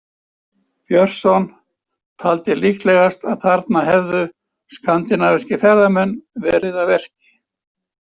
Björnsson taldi líklegast að þarna hefðu skandinavískir ferðamenn verið að verki.